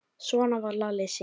Svona var Lalli Sig.